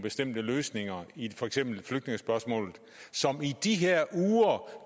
bestemte løsninger i for eksempel flygtningespørgsmålet som i de her uger